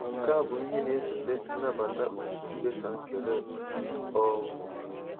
Nke a bụ ihe na-esote nnabata otu mkpesa nke Rep. um